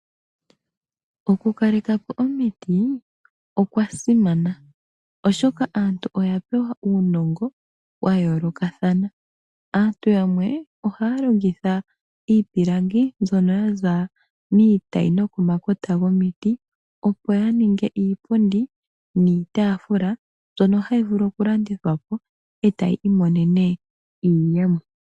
Ekalekepo lyomiti olya simana molwashoka aantu oya pewa uunongo wa yo lo kathana melongitho lyomiti ngashi endulukepo lyiipundi niitafula mbyoka yalongwa miipilangi yaza komiti. Elandithepo lyiipundi oshowo iitafula oha li eta iiyemo yokwi kwatha nayo moku yi landithapo.